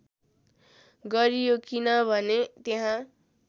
गरियो किनभने त्यहाँ